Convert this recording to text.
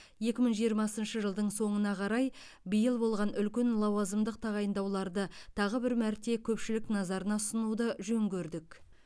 екі мың жиырмасыншы жылдың соңына қарай биыл болған үлкен лауазымдық тағайындауларды тағы бір мәрте көпшілік назарына ұсынуды жөн көрдік